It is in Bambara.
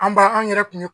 An b'a an yɛrɛ kun ye